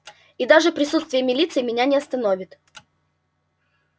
и даже присутствие милиции меня не остановит